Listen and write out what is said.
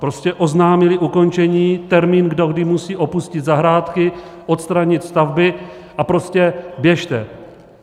Prostě oznámili ukončení, termín, do kdy musí opustit zahrádky, odstranit stavby, a prostě běžte.